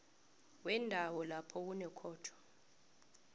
wendawo lapha kunekhotho